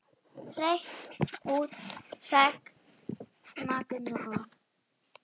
Hreint út sagt magnað.